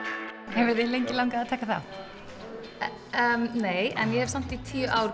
hefur þig lengi langað að taka þátt nei en ég hef samt í tíu ár